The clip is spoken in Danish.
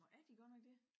Nå er de godt nok det?